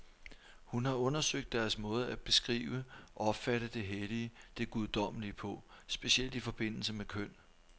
Hun har undersøgt deres måde at beskrive, opfatte det hellige, det guddommelige på, specielt i forbindelse med køn.